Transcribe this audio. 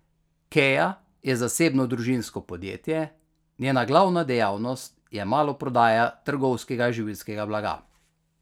Kea je zasebno družinsko podjetje, njena glavna dejavnost je maloprodaja trgovskega živilskega blaga.